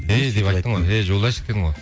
эй деп айттың ғой эй жолдасик дедің ғой